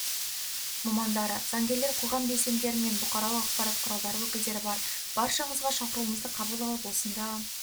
мамандары заңгерлер қоғам белсенділері мен бұқаралық ақпарат құралдары өкілдері бар баршаңызға шақыруымызды қабыл алып осында